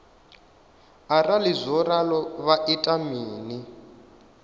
arali zwo ralo vha ita mini